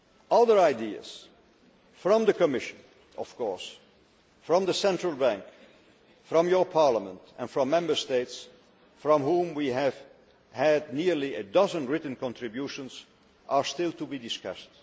Other ideas from the Commission, of course, from the Central Bank, from your Parliament and from Member States from whom we have had nearly a dozen written contributions, are still to be discussed.